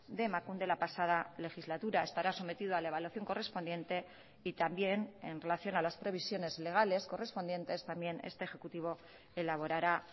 de emakunde la pasada legislatura estará sometido a la evaluación correspondiente y también en relación a las previsiones legales correspondientes también este ejecutivo elaborará